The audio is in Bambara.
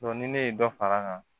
ni ne ye dɔ far'a kan